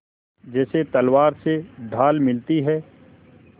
जैसे तलवार से ढाल मिलती है